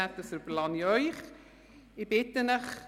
Das überlasse ich Ihnen.